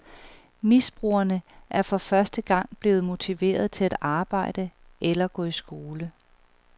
Stofmisbrugerne er for første gang blevet motiveret til at arbejde eller gå i skole.